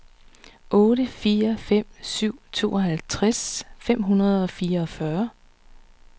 otte fire fem syv tooghalvtreds fem hundrede og fireogfyrre